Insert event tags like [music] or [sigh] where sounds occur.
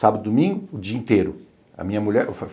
Sábado e domingo, o dia inteiro. A mulher [unintelligible]